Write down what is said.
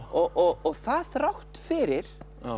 og það þrátt fyrir